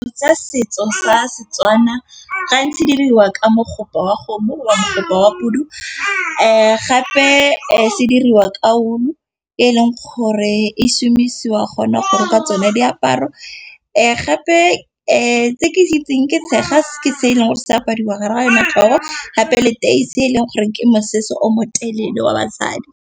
Tsa setso sa setswana gantsi diriwa ka mogo wa kgomo wa mokgopa wa pudu. Gape se diriwa ka wool-o e e leng gore e somisiwa gona gore o ka tsena diaparo. Gape tse ke di itsing ke tshega se e leng gore se apariwa gare ga yone tlhogo, gape le teise e leng goreng ke mosese o motelele wa basadi.